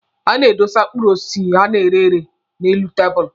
A na-edosa mkpụrụ osisi a na-ere ere n'elu tabụlụ.